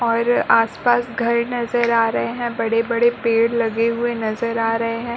और आस-पास घर नजर आ रहे है। बड़े-बड़े पेड़ लगे हुए नजर आ रहे है।